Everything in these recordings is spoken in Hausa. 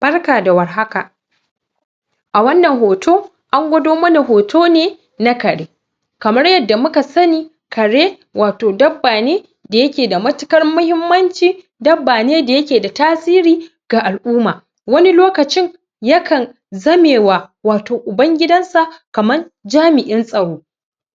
Barka da warhaka a wannan hoto an gwado mana hoto ne na kare kamar yanda muka sani kare wat dabba ne da yake da matuƙar mahimmanci dabba ne da yake da tasiri ga al'uma wani lokacin yakan zame wa wato uban gidansa kaman jami'in tsaro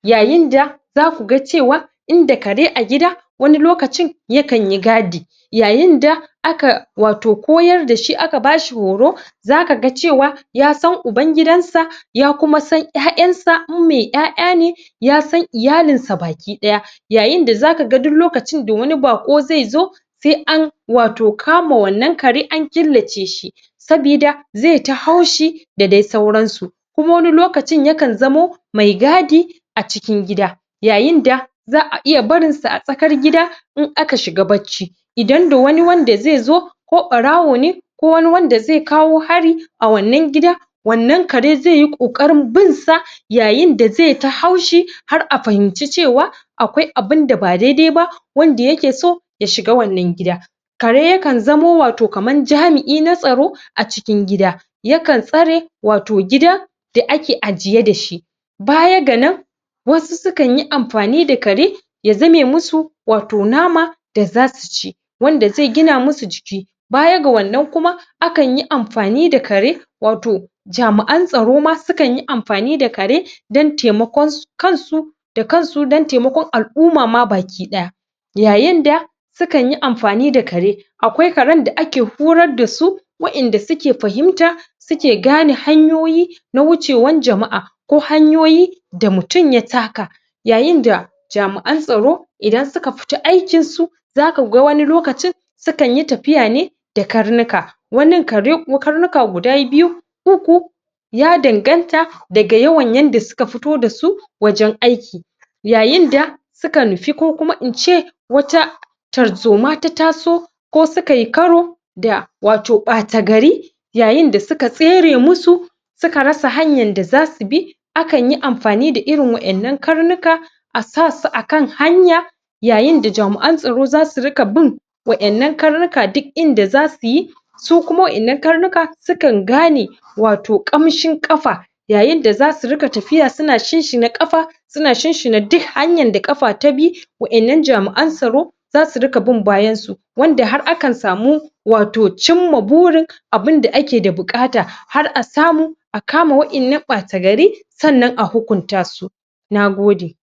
yayin da za ku ga cewa in da kare a gida wani lokacin ya kan yi gadi yayinda aka wato koyar da shi aka bashi horo zaka ga cewa ya san uban gidansa ya kuma san ƴaƴansa in mai ƴaƴa ne ya san iyalinsa bakiɗaya yayinda zaka ga duk lokacin da wani baƙo zai zo sai an wato kama wannan kare an killaceshi sabi da zai ta haushi da dai sauransu kuma wani lokacin yakan zamo mai gadi a cikin gida yayinda za a iya barinsa a tsakar gida in aka shiga bacci idan da wani wanda zai zo ko ɓarawo ne ko wani wanda zai kawo hari a wanann gida wannan kare zai yi ƙoƙarin binsa yayinda zai ta haushi har a fahimci cewa akwai abinda ba daidai ba wanda yake so ya shiga wannan gida kare yakan zamo wato kaman jami'i natsaro a cikin gida yakan tsare wato gida da ake ajiye dashi baya ga nan wasu sukan yi amfani da kare ya zame musu wato nama da za su ci wanda zai gina musu jiki baya ga wannan kuma akan yi amfani da kare wato jami'an tsaro ma sukanyi amfani da kare dan taimakon kansu da kansu don taimakon al'uma ma bakiɗaya yayinda sukan yi amfani da kare akwai karn da ake horar da su wa'inda suke fahimta suke gane hanyoyi na wucewan jama'a ko hanyoyi da mutum ya taka yayinda jami'an tsaro idan suka fita aikinsu zakaga wani lokacin sukanyi tafia ne da karnuka waninkare ko karnuka guda biyu uku ya danganta daga yawan yanda suka fito da su wajen aiki yayinda suka nufi ko kuma in ce wata tarzoma ta taso ko sukayi karo da wato ɓatagari yayinda suka tsere musu suka rasa hanyan da za su bi akanyi amfani da irin wa'innan karnuka a sasu akan hanya yayinda jami'an tsaro za su riƙa bin wa'innan karnuka duk inda za su yi su kuma wa; innan karnuka sukan gane wato ƙamshin ƙafa yayinda za su riƙa tafiya suna shinshina ƙafa suna shinshina duk hanyar da ƙafa ta bi wa'innan jami'an tsaro za su riƙa bin bayansa wanda har akan samu wato cinma burin abunda ake da buƙata har a samu a kama wa'innan ɓatagari sannan a hukuntasu na gode.